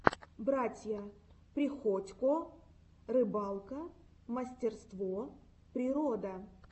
братья приходько рыбалка мастерство природа